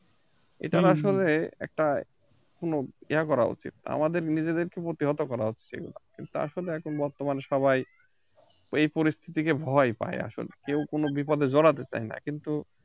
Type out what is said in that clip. এটা আসলে একটা কোন ইয়ে করা উচিত আমাদের নিজেদেরেকে প্রতিহত করা হচ্ছে এগুলা কিন্ত আসলে এখন বর্তমান সবাই এই পরিস্থিতিকে ভয় পায় আসলে কেউ কোন বিপদে জড়াতে চায় না কিন্তু